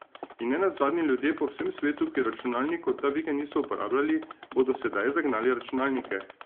In ne nazadnje, ljudje po vsem svetu, ki računalnikov ta vikend niso uporabljali, bodo sedaj zagnali računalnike.